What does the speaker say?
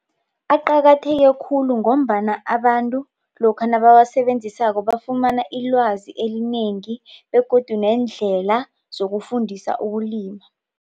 Aqakatheke khulu ngombana abantu lokha nabawasebenzisako bafumana ilwazi elinengi begodu nendlela zokufundisa ukulima.